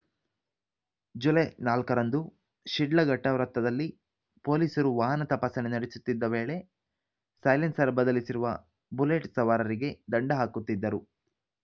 July ನಾಲ್ಕರಂದು ಶಿಡ್ಲಘಟ್ಟವೃತ್ತದಲ್ಲಿ ಪೊಲೀಸರು ವಾಹನ ತಪಾಸಣೆ ನಡೆಸುತ್ತಿದ್ದ ವೇಳೆ ಸೈಲೆನ್ಸರ್‌ ಬದಲಿಸಿರುವ ಬುಲೆಟ್‌ ಸವಾರರಿಗೆ ದಂಡ ಹಾಕುತ್ತಿದ್ದರು